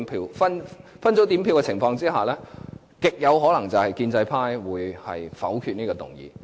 在分組點票的情況下，極有可能是建制派會否決這項議案。